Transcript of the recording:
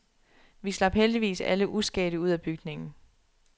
Vi slap heldigvis alle uskadte ud af bygningen.